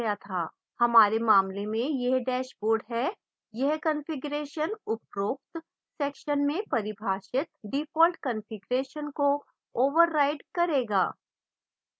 हमारे मामले में यह dashboard है यह कॉन्फ़िगरेशन उपरोक्त सेक्शन में परिभाषित डिफ़ॉल्ट कॉन्फ़िगरेशन को ओवरराइड करेगा